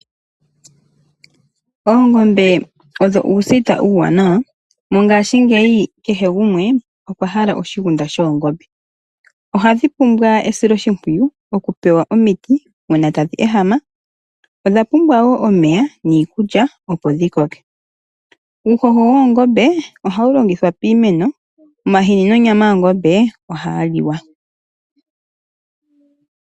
Oongombe odho uusita uuwanawa. Mongashingeyi kehe gumwe okwa hala oshigunda shoongombe. Ohadhi pumbwa esiloshimpwiyu lyomiti uuna tadhi ehama. Odha pumbwa wo omeya niikulya opo dhikoke . Uuhoho woongombe ohawu longithwa piimeno omanga omahini nonyama ohayi li wa.